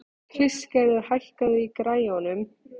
Kristgerður, hækkaðu í græjunum.